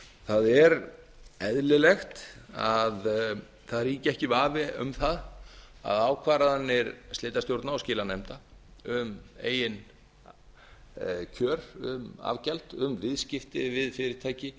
það er eðlilegt að það ríki ekki vafi um það að ákvarðanir slitastjórna og skilanefnda um eigin kjör um afgjald um viðskipti við fyrirtæki